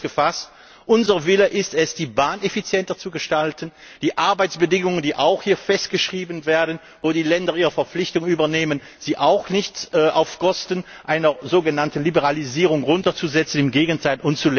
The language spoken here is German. Also kurz gefasst Unser Wille ist es, die Bahn effizienter zu gestalten und hinsichtlich der Arbeitsbedingungen, die auch hier festgeschrieben werden, sollen die Länder die Verpflichtung übernehmen, sie nicht auf Kosten einer sogenannten Liberalisierung herunterzusetzen, im Gegenteil.